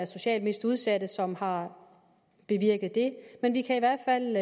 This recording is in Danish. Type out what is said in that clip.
socialt mest udsatte borgere som har bevirket det men jeg kan i hvert fald